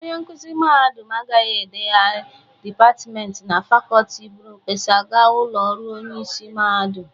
Onye nkụzị mahadum agaghị eleghara dịpatmenti na fakọltị bụrụ mkpesa ga ụlọ ọrụ onyeisi mahadum.